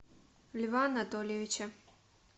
льва анатольевича